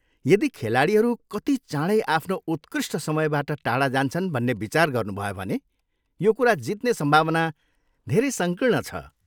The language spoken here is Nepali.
यदि खेलाडीहरू कति चाँडै आफ्नो उत्कृष्ट समयबाट टाढा जान्छन् भन्ने विचार गर्नुभयो भने यो कुरा जित्ने सम्भावना धेरै सङ्कीर्ण छ।